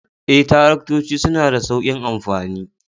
Ee, Taraktoci suna da sauƙin amfani